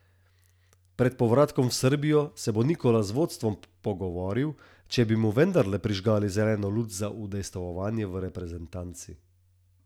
Pred povratkom v Srbijo se bo Nikola z vodstvom pogovoril, če bi mu vendarle prižgali zeleno luč za udejstvovanje v reprezentanci.